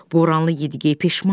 Boranlı Yedi-gey peşman idi.